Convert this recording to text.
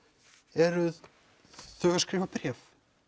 eru þau að skrifa bréf